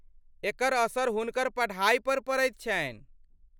एकर असर हुनकर पढा़ईपर पड़ैत छन्हि।